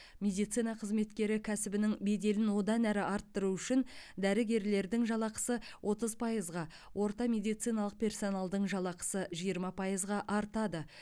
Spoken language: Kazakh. медицина қызметкері кәсібінің беделін одан әрі арттыру үшін дәрігерлердің жалақысы отыз пайызға орта медициналық персоналдың жалақысы жиырма пайызға артады